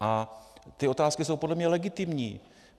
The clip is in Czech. A ty otázky jsou podle mě legitimní.